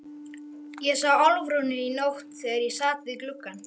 Ég sá Álfrúnu í nótt þegar ég sat við gluggann.